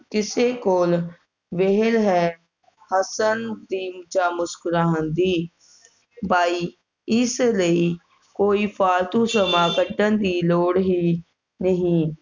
ਕਿਸੇ ਕੋਲ ਵੇਹਲ ਹੈ ਹੱਸਣ ਦੀ ਜਾ ਮੁਸਕੁਰਾਉਣ ਦੀ ਬਾਈ ਇਸ ਲਈ ਕੋਈ ਫਾਲਤੂ ਸਮਾਂ ਕੱਢਣ ਦੀ ਲੋੜ ਹੀ ਨਹੀਂ